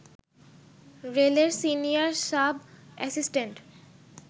রেলের senior sub assistant